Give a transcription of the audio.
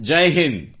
Jai Hind